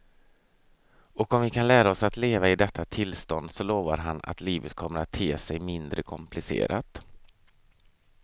Och om vi kan lära oss att leva i detta tillstånd så lovar han att livet kommer att te sig mindre komplicerat.